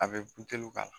A bɛ k'a la